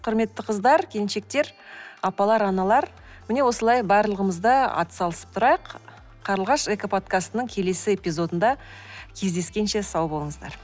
құрметті қыздар келіншектер апалар аналар міне осылай барлығымыз да атсалысып тұрайық қарлығаш экоподкастының келесі эпизодында кездескенше сау болыңыздар